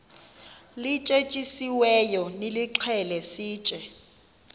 lityetyisiweyo nilixhele sitye